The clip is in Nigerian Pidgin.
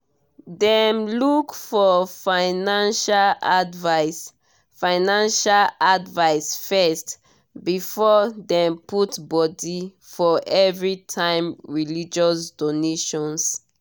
dem look for financial advice financial advice first before dem put body for everytime religious donation.